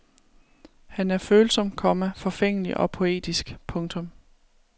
Han er følsom, komma forfængelig og poetisk. punktum